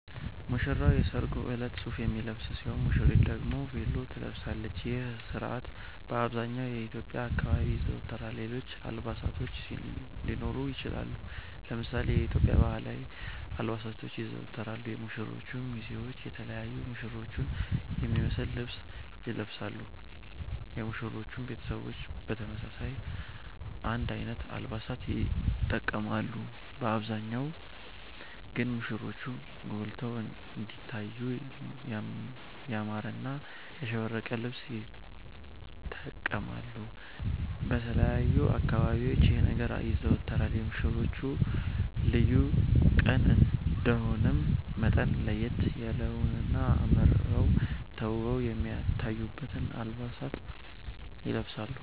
ሙሽራዉ የሰርጉ እለት ሱፍ የሚለብስ ሲሆን ሙሽሪት ደግሞ ቬሎ ትለብሳለች ይህ ስርአት በአብዘሃኛዉ የኢትዮዽያ አካባቢዎች ይዘወተራል ሌሎች አልባሳቶች ሊኖሩ ይችላሉ። ለምሳሌ የኢትዮዽያ ባህላዊ አልባሳቶች ይዘወተራሉ የሙሽሮቹ ሚዜዎች የተለያዩ ሙሽሮቹን የሚመሰል ልብስ ይለብሳሉ የሙሽሮቹም ቤተሰቦች በተመሳሳይ አንድ አይነት አለባበስ ይተቀማሉ በአብዛሃኛዉ ግን ሙሽሮቹ ጎልተዉ እንዲታዩ ያማረና ያሸበረቀ ልብስ ይተቀማሉ። በተለያዩ አካባቢዎች ይህ ነገር ይዘወተራል የሙሽሮቹ ልዩ ቀን እንደመሆኑ መጠን ለየት በለዉና አመረዉ ተዉበዉ የሚታዩበትን አለባበስ ይለብሳሉ